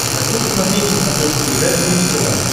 хочу посмотреть на смотрешке передачу бридж тв